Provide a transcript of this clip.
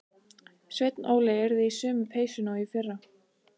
Sveinn Óli yrði í sömu peysunni og í fyrra.